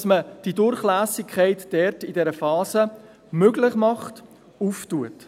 Wir sehen hier eine grosse Chance, die Durchlässigkeit in dieser Phase zu ermöglichen, zu eröffnen.